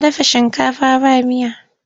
Ta dafa shinkafa ba miya.